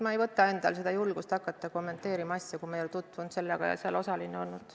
Ma ei võta endale julgust hakata asja kommenteerima, kui ma ei ole sellega tutvunud ega seal osaline olnud.